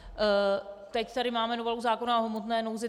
Teď tady máme novelu zákona o hmotné nouzi.